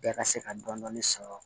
Bɛɛ ka se ka dɔni sɔrɔ